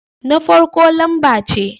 Na farko lamba ce